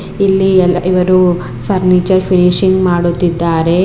ಇಲ್ಲಿ ಎಲ್ಲ ಇವರು ಫರ್ನೀಚರ್ ಫಿನಿಷಿಂಗ್ ಮಾಡುತ್ತಿದ್ದಾರೆ.